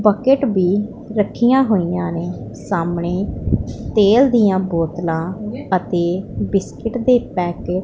bucket ਬੀ ਰੱਖੀਆਂ ਹੋਈਆਂ ਨੇ ਸਾਹਮਣੇ ਤੇਲ ਦੀਆਂ ਬੋਤਲਾਂ ਅਤੇ ਬਿਸਕਿਟ ਦੇ ਪੈਕਟ --